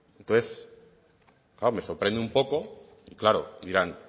entonces claro me sorprende un poco claro dirán